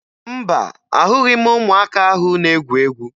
Mba, ahụghị m ụmụaka ahụ na-egwu egwu